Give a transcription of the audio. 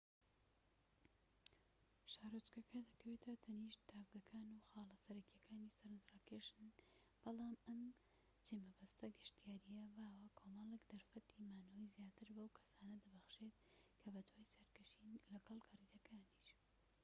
شارۆچکەکە دەکەوێتە تەنیشت تاڤگەکان و خاڵە سەرەکیەکانی سەرنج ڕاکێشانن بەڵام ئەم جێمەبەستە گەشتیاریە باوە کۆمەڵێک دەرفەتی مانەوەی زیاتر بەو کەسانە دەبەخشێت کە بەدوای سەرکەشین لەگەڵ گەڕیدەکانیش